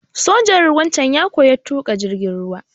Sojan ruwan can ya koya tuƙa jirgin ruwa.